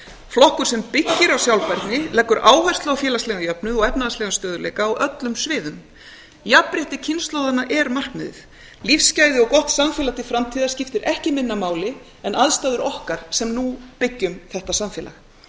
flokkur sem byggir á sjálfbærni leggur áherslu á félagslegan jöfnuð og efnahagslegan stöðugleika á öllum sviðum jafnrétti kynslóðanna er markmiðið lífsgæði og gott samfélag til framtíðar skiptir ekki minna máli en aðstæður okkar okkar sem nú byggjum þetta samfélag